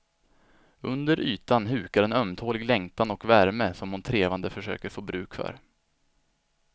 Under ytan hukar en ömtålig längtan och värme som hon trevande försöker få bruk för.